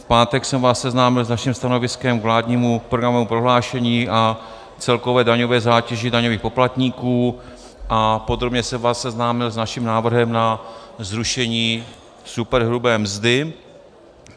V pátek jsem vás seznámil s naším stanoviskem k vládnímu programovému prohlášení a celkové daňové zátěži daňových poplatníků a podrobně jsem vás seznámil s naším návrhem na zrušení superhrubé mzdy.